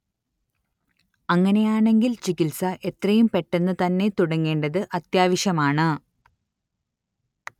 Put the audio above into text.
അങ്ങനെയാണെങ്കിൽ ചികിത്സ എത്രയും പെട്ടെന്നു തന്നെ തുടങ്ങേണ്ടത് അത്യാവശ്യമാണ്